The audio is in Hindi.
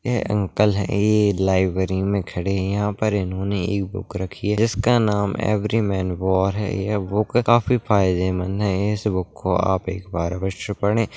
ये अंकल है लाइब्रेरी में खड़े यहां पर इन्होने एक बुक रखी है जिसका नाम है एवरी मैन वॉर है यह बुक काफी फायदेमंद है इस बुक को एक बार आप अवश्य पढ़े।